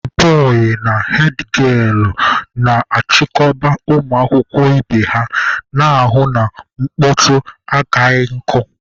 hedbọị na hedgielụ na-achịkọba ụmụ akwụkwọ ibe ha, na-ahụ na mkpọtụ akaghị nkụ.